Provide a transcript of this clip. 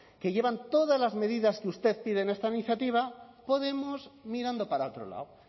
que llevan todas las medidas que usted pide en esta iniciativa podemos mirando para otro lado